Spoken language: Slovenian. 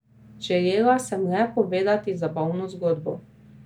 Želela sem le povedati zabavno zgodbo.